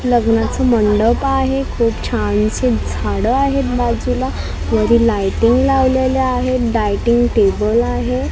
लग्नाचे मंडप आहे खूप छानशी झाडं आहेत बाजूला वरी लाइटिंग लावलेल्या आहेत डायटिंग टेबल आहे.